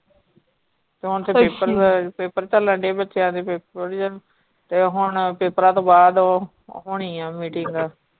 ਤੇ ਹੁਣ ਤੇ paper paper ਚਲ ਡਏ ਬੱਚਿਆਂ ਦੇ paper ਤੇ ਹੁਣ papers ਤੋਂ ਬਾਅਦ ਉਹ ਹੋਣੀ ਆ meeting.